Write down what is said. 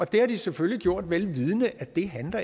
det har de selvfølgelig gjort vel vidende at det